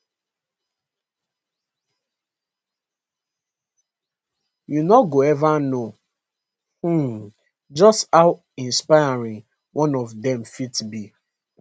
you no go ever know um just how inspiring one of dem fit be